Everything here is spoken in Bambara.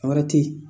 Wɛrɛ te yen